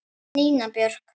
Nína Björk.